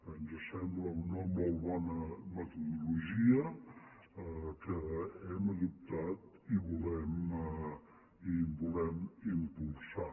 ens sembla una molt bona metodologia que hem adoptat i que volem impulsar